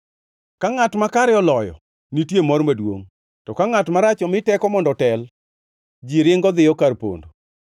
Ka ngʼat makare oloyo, nitie mor maduongʼ, to ka ngʼat marach omi teko mondo otel, ji ringo dhiyo kar pondo.